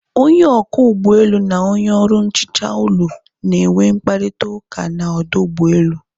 Onye ọkwọ ụgbọelu na onye ọrụ nhicha ụlọ na enwe mkparịta ụka na ọdụ ụgbọelu